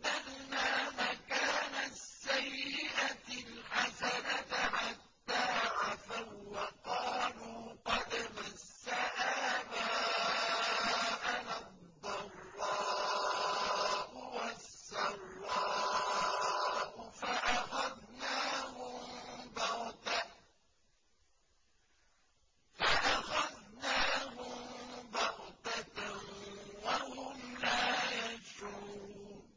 بَدَّلْنَا مَكَانَ السَّيِّئَةِ الْحَسَنَةَ حَتَّىٰ عَفَوا وَّقَالُوا قَدْ مَسَّ آبَاءَنَا الضَّرَّاءُ وَالسَّرَّاءُ فَأَخَذْنَاهُم بَغْتَةً وَهُمْ لَا يَشْعُرُونَ